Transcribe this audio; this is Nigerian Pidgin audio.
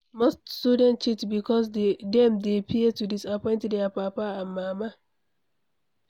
Most student cheat because dem dey fear to disappoint their papa and mama